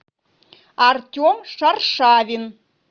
артем шаршавин